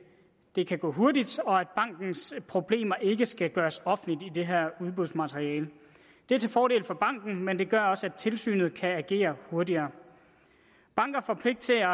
det kan gå hurtigt og at bankens problemer ikke skal gøres offentlige i det her udbudsmateriale det er til fordel for banken men det gør også at tilsynet kan agere hurtigere banker får pligt til at